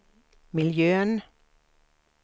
miljön